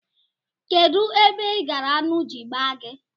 Kedụ ebe ị gara aṅụ ji gbaa gị?